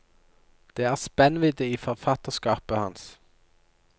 Det er spennvidde i forfatterskapet hans.